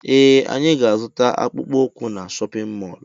Ee anyị ga -azuta akpụkpọ ukwu na shóppin mol